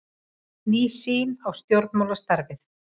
Ný sýn á stjórnmálastarfið